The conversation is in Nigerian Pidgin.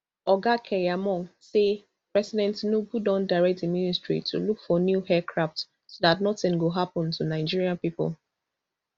oga keyamo say president tinubu don direct di ministry to look for new aircrafts so dat nothing go happun to nigeria pipo